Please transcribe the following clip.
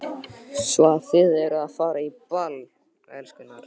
Svo að þið eruð að fara á ball, elskurnar?